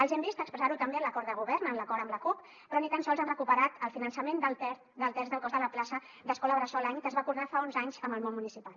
els hem vist expressar ho també en l’acord de govern en l’acord amb la cup però ni tan sols han recuperat el finançament del terç del cost de la plaça d’escola bressol any que es va acordar fa onze anys amb el món municipal